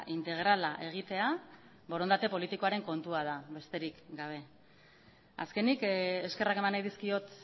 integrala egitea borondate politikoaren kontua da besterik gabe azkenik eskerrak eman nahi dizkiot